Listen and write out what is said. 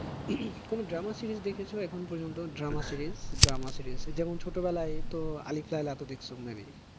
কোনো drama series দেখেছো এখনও পর্যন্ত? drama series, drama series যেমন ছোট বেলায় তো আলিফ লায়লা তো দেখেছো may be